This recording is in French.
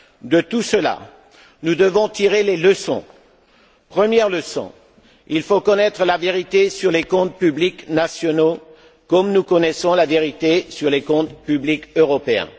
De tout cela, nous devons tirer les leçons. Première leçon il faut connaître la vérité sur les comptes publics nationaux, comme nous connaissons la vérité sur les comptes publics européens.